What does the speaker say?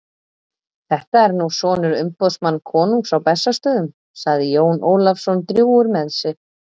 Þetta er nú sonur umboðsmanns konungs á Bessastöðum, sagði Jón Ólafsson drjúgur með sig.